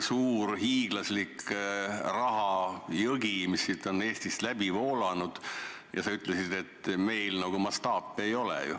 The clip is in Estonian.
Suur hiiglaslik rahajõgi on siit Eestist läbi voolanud, aga sa ütlesid, et meil nagu mastaape ei ole.